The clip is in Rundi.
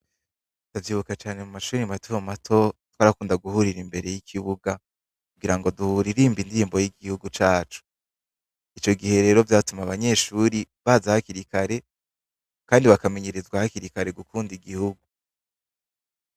Ndavyibuka cane mu mashuri mato mato twarakunda guhurira imbere y'ikibuga .Kugira ngo duhura irimba indirimbo y'igihugu cacu, ico gihe rero vyatuma abanyeshuri baza hakirikare kandi bakamenyerezwa hakirikare gukunda igihugu.